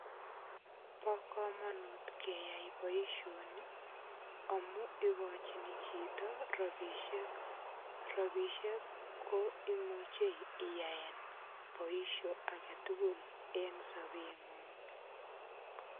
Bo kamanut keyai boisioni amu igochini chito rapisiek. Rapisiek ko imuche iyaen boisio agetugul eng sobengung.